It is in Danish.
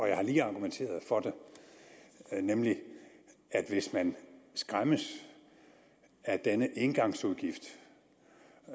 jeg har lige argumenteret for det nemlig at hvis man skræmmes af denne engangsudgift